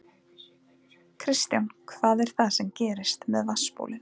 Kristján: Hvað er það sem gerist með vatnsbólin?